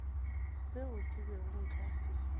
seo ke bego nka se